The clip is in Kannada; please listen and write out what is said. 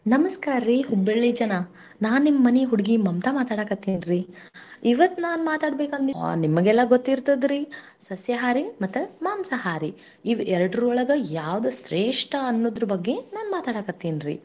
ನಮಸ್ಕಾರ್ರೀ Hubballi ಜನ ನಾನ್ ನಿಮ್ಮನೀ ಹುಡುಗಿ ಮಮತಾ ಮಾತಾಡಾಕತ್ತಿನ್ರಿ ಇವತ್ತ್ ನಾನ್ ಮಾತಾಡಬೇಕ್ ಅಂದಿದ್ ಒಹ್ ನಿಮಗೆಲ್ಲಾ ಗೊತ್ತಿರತದ ರೀ, ಸಸ್ಯಹಾರಿ ಮತ್ತ ಮಾಂಸಾಹಾರಿ ಇವ್ ಎರಡುರೊಳಗ ಯಾವ್ದು ಶ್ರೇಷ್ಠ ಅನ್ನೋದ್ರ ಬಗ್ಗೆ ನಾನ ಮಾತಾಡಾಕತ್ತಿನ್ರಿ.